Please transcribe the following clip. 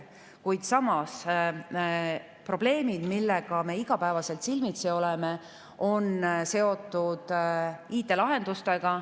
Kuid samas, probleemid, millega me iga päev silmitsi oleme, on seotud IT‑lahendustega.